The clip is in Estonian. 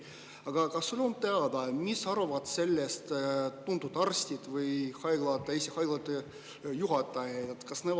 Aga kas sulle on teada, mida arvavad sellest tuntud arstid või Eesti haiglate juhid?